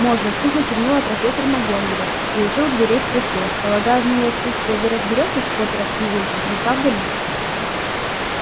можно сухо кивнула профессор макгонагалл и уже у дверей спросила полагаю в моё отсутствие вы разберётесь с поттером и уизли не правда ли